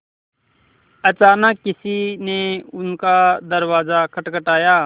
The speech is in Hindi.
अचानक किसी ने उनका दरवाज़ा खटखटाया